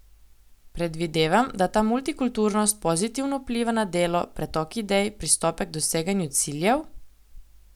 Predvidevam, da ta multikulturnost pozitivno vpliva na delo, pretok idej, pristope k doseganju ciljev?